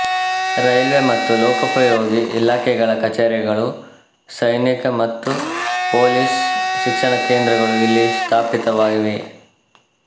railway ಮತ್ತು ಲೋಕೋಪಯೋಗಿ ಇಲಾಖೆಗಳ ಕಚೇರಿಗಳು ಸೈನಿಕ ಮತ್ತು ಪೊಲೀಸ್ ಶಿಕ್ಷಣ ಕೇಂದ್ರಗಳು ಇಲ್ಲಿ ಸ್ಥಾಪಿತವಾಗಿವೆ